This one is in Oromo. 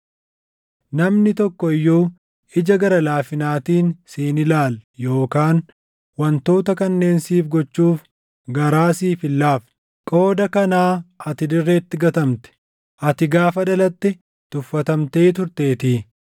Namni tokko iyyuu ija gara laafinaatiin si hin ilaalle yookaan wantoota kanneen siif gochuuf garaa siif hin laafne. Qooda kanaa ati dirreetti gatamte; ati gaafa dhalatte tuffatamtee turteetii.